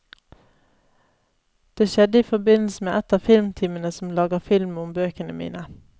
Det skjedde i forbindelse med et av filmteamene som lager film om bøkene mine.